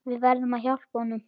Við verðum hjálpa honum.